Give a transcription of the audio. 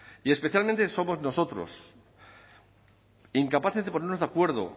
y especialmente somos nosotros incapaces de ponernos de acuerdo